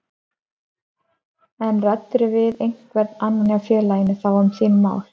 En ræddirðu við einhvern annan hjá félaginu þá um þín mál?